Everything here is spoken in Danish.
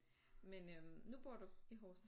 Men øh nu bor du i Horsens?